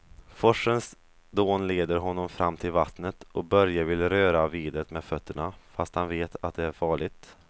Forsens dån leder honom fram till vattnet och Börje vill röra vid det med fötterna, fast han vet att det är farligt.